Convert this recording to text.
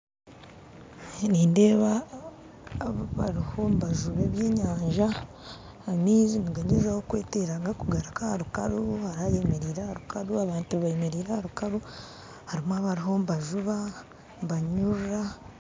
Nindeeba abariho nibajuba eby'enyanja amaize nigagyezaho kwetera gakugaruka aha nkungu hariho ayemerire aha nkungu, abantu bemeriire aha nkungu, harimu abarimu nibajuba, nibanyurura.